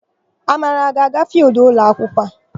Amara, ọ ga-aga fịịldụ ụlọakwụkwọ?